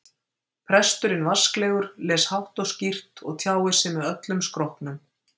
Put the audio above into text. Presturinn vasklegur, les hátt og skýrt og tjáir sig með öllum skrokknum.